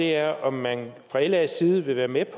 er om man fra las side vil være med